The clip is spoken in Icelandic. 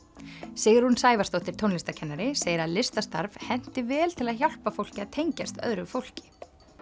Sigrún Sævarsdóttir tónlistarkennari segir að listastarf henti vel til að hjálpa fólki að tengjast öðru fólki